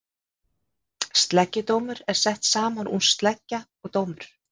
sleggjudómur er sett saman úr sleggja og dómur